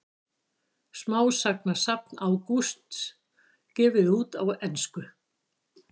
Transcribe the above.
Smásagnasafn Ágústs gefið út á ensku